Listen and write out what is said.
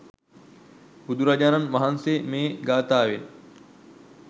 බුදුරජාණන් වහන්සේ මේ ගාථාවෙන්